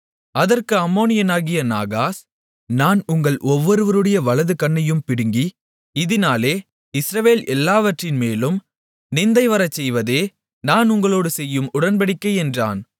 அதற்கு அம்மோனியனாகிய நாகாஸ் நான் உங்கள் ஒவ்வொருவருடைய வலது கண்ணையும் பிடுங்கி இதினாலே இஸ்ரவேல் எல்லாவற்றின்மேலும் நிந்தைவரசெய்வதே நான் உங்களோடு செய்யும் உடன்படிக்கை என்றான்